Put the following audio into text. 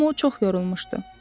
Amma o çox yorulmuşdu.